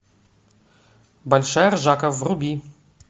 большая ржака вруби